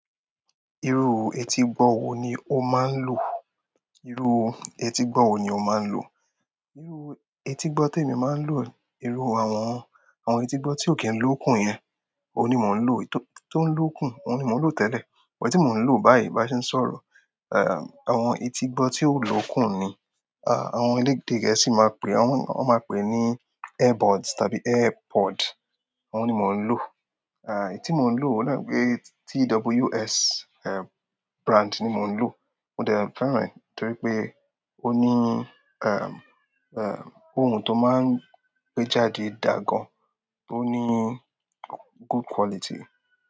Irú etígbọ́ wo ni o máa ń lò? Irú etígbọ́ wo ni o máa ń lò? Irú etígbọ́ tí èmi máa ń lò, irú àwọn, àwọn etígbọ́ tí ò kí ń lókun yẹn, òun ni mò ń lò. Tó ń lókun, òun ni mò ń lò tẹ́lẹ̀. Èyí tí mò n lo báyìí bí a ṣe n sọ̀rọ̀, em àwọn etígbọ́ tí kò lókùn ni, a àwọn elédè gẹ̀ẹ́sì máa pèé aw-- wọn máa pèé ní airbuds tàbí airpod òhùn ni mò ń lò. Eh, èyítí mò ń lò òhunní náà ní pé, TWS, eh, brand ni mò ń lò. Mo dẹ́ fẹ́ràn ẹ́ torí pé ó ní, ẹm, ẹm, ohun tó máa ń gbé jáde dàa gan, tó ní good quality.